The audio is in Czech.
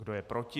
Kdo je proti?